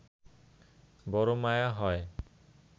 বড় মায়া হয়